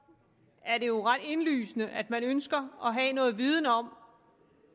er det jo ret indlysende at man ønsker at have noget viden om